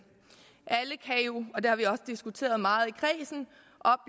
alle kan jo og det har vi også diskuteret meget